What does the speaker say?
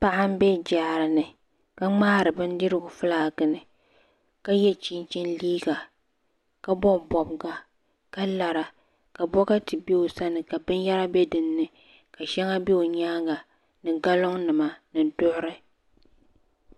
Paɣa m be jaara ni ka ŋmaari bindirigu filaaki ni ka ye chinchini liiga ka bobi bobiga ka lara ka bokati be o sani ka binyɛra be dinni ka sheŋa be o nyaanga ni galiŋ nima ni zuɣuri.